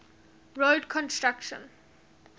road construction